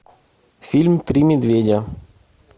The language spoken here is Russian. фильм три медведя